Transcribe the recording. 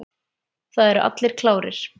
Það eru allir klárir.